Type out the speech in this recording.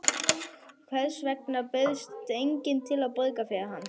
Hvers vegna bauðst enginn til að borga fyrir hann?